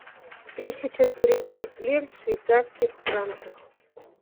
тысяча турецких лир в швейцарских франках